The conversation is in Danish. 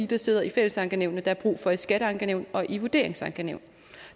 der sidder i fællesankenævnene der er brug for i skatteankenævn og i vurderingsankenævn